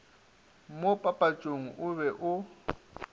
mo papatšong o be o